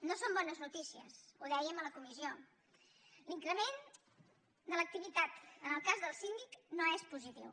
no són bones notícies ho dèiem a la comissió l’increment de l’activitat en el cas del síndic no és positiu